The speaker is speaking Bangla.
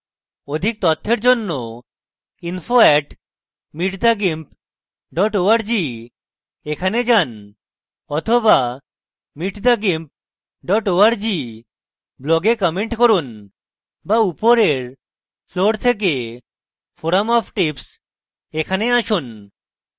অধিক তথ্যের জন্য info @meet the gimp org তে যান বা meet the gimp org blog comment করুন বা উপরের floor থেকে forum of tips a আসুন